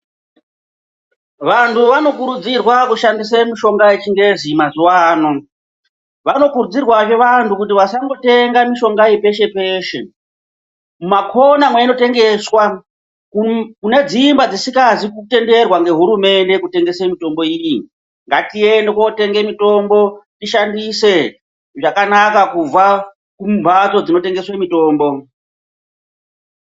Vanhu vanokurudzirwa kushandisa mishonga yechingezi mazuvano, vanokurudzirwa zvevanhu kuti vasangotenga iyi peshe peshe, kumakona mwei inotengeswa kune dzimba dzisina kutenderwa ngehurumende kutenga mitombo iyi, ngatiende kootenga mitombo tishandise zvakanaka kubva kumhatso dzinotengeswa mitombo.